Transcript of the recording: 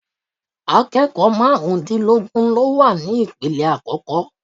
Akẹ́kọ̀ọ́ marun dínlógún ló wà ní ipele àkọ́kọ́.